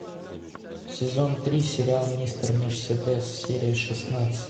сезон три сериал мистер мерседес серия шестнадцать